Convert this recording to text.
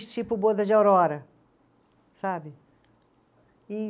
Tipo Boda de Aurora, sabe? E